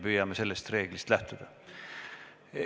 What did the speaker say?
Püüame sellest reeglist lähtuda.